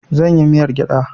Zan yi miyar gyada